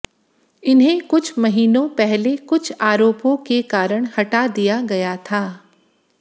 इन्हें कुछ महीनों पहले कुछ आरोपों के कारण हटा दिया गया था